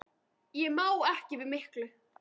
Ég má ekki við miklu.